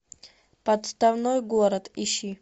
подставной город ищи